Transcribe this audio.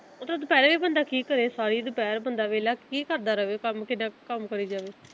ਮਤਲਬ ਦੁਪਹਿਰੇ ਵੀ ਬੰਦਾ ਕੀ ਕਰੇ ਸਾਰੀ ਦੁਪਹਿਰ ਬੰਦਾ ਵਿਹਲਾ ਕੀ ਕਰਦਾ ਰਵੇ ਕੰਮ ਕਿੱਦਾ ਕਰੀ ਜਾਵੇ।